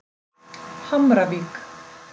Hamravík